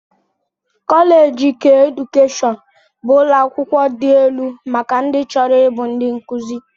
Kọleeji keedukeshọn bụ ụlọakwụkwọ dị elu maka ndị chọrọ ịbụ ndị nkụzi